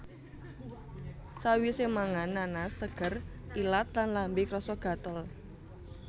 Sawisé mangan nanas seger ilat lan lambe krasa gatel